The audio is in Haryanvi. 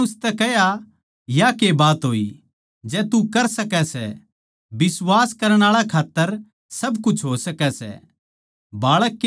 यीशु नै उसतै कह्या या के बात होई जै तू कर सकै सै बिश्वास करण आळा खात्तर सारा कुछ हो सकै सै